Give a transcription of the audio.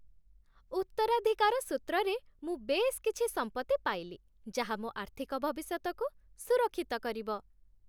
ଉତ୍ତରାଧିକାର ସୂତ୍ରରେ ମୁଁ ବେଶ୍ କିଛି ସମ୍ପତ୍ତି ପାଇଲି ଯାହା ମୋ ଆର୍ଥିକ ଭବିଷ୍ୟତକୁ ସୁରକ୍ଷିତ କରିବ।